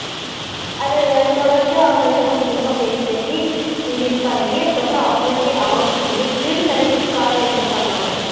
அது தொடர்ந்து அவங்ககிட்ட கொஞ்சம் கொஞ்சமா பேசி பேசி english பழகி அதுக்கு அப்பறம் அவங்களுக்கே அவங்க இவருக்குனு தனி பட்டு car வாங்கிகுடுத்தாங்க அவங்க